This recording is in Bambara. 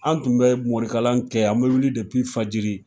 An tun bɛ morikalan kɛ an bɛ wuli fajiri.